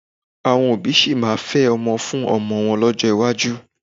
Àwọn òbí a sì máa fẹ́ ọmọ fún ọmọ wọn lọ́jọ́ iwájú